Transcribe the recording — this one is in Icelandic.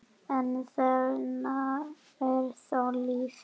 en þarna er þó líf.